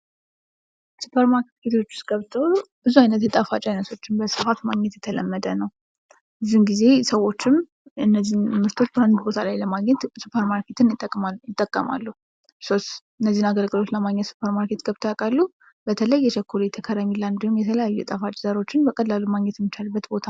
ሱፐርማርኬቶች ውስጥ ገብቶ ብዙ ዓይነት የጣፋጭ ዓይነቶችን በስፋት ማግኘት የተለመደ ነው። ብዙውን ጊዜ ሰዎችም እነዚህን ምርቶች በአንድ ቦታ ላይ ለማግኘት ሱፐርማርኬትን ይጠቀማሉ። እርሶስ እነዚህን አገልግሎት ለማግኘት ሱፐርማርኬት ገብተው ያውቃሉ? በተለይ የቸኮሌት ከረሜላ፤ እንዲሁም የተለያዩ የጣፋጭ ዘሮችን በቀላሉ ማግኘት የሚቻልበት ቦታ ነው።